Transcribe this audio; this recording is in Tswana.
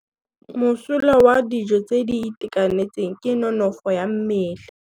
Mosola wa dijô tse di itekanetseng ke nonôfô ya mmele.